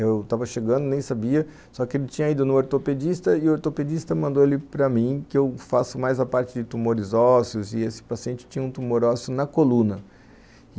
Eu tava chegando, nem sabia, só que ele tinha ido no ortopedista e o ortopedista mandou ele para mim, que eu faço mais a parte de tumores ósseos, e esse paciente tinha um tumor ósseo na coluna.